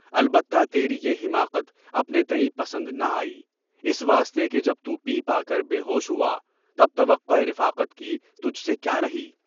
البتہ تیری یہ حماقت اپنے تئیں پسند نہ آئی، اس واسطے کہ جب تُو پی پاکے بے ہوش ہوا، تب توقعِ رفاقت کی تجھ سے کیوں ہی؟